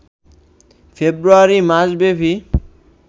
ফেব্রুয়ারি মাসব্যাপী